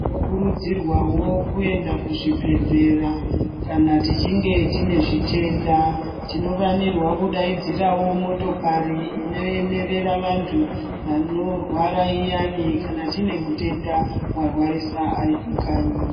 Tinokurudzirwawo kuenda kuzvibhedhlera kana tichinge tine zvitenda. Tinofanirwa kudaidzirawo motokari inoemerera vantu vanorwara iyani kana tine mutenda warwarisa ari pakanyi.